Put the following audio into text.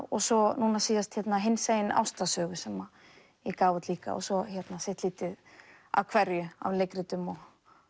og svo núna síðast hinsegin ástarsögu sem ég gaf út líka svo sitt lítið af hverju af leikritum og